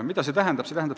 Mida see tähendab?